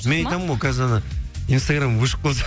мен айтамын ғой қазір анау инстаграм өшіп қалса